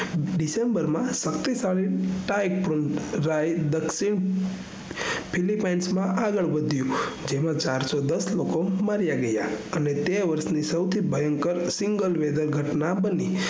december માં શકિતશાળી tyephone રાય દ્ક્ષિણ filipinas માં આગળ વાઘીયું જેમાં ચારસોદસ લોકો મારિયા ગયા અને વર્ષ ની સૌથી ભયંકર સીગલ વેદન ઘટના બની